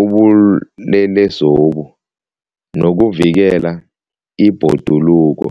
ubulelesobu nokuvikela ibhoduluko.